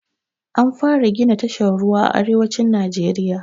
An fara gina tashar ruwa a arewacin najeriya